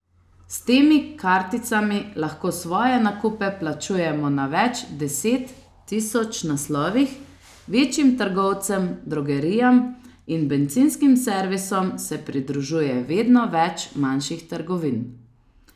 S temi karticami lahko svoje nakupe plačujemo na več deset tisoč naslovih, večjim trgovcem, drogerijam in bencinskim servisom se pridružuje vedno več manjših trgovin.